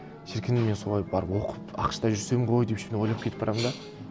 шіркін мен солай барып оқып ақш та жүрсем ғой деп ішімнен ойлап кетіп барамын да